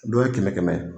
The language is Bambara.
Dɔw ye kɛmɛ kɛmɛ ye